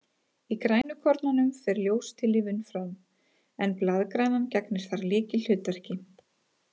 Í grænukornunum fer ljóstillífun fram, en blaðgrænan gegnir þar lykilhlutverki.